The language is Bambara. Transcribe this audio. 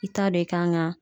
I t'a dɔn i kan ka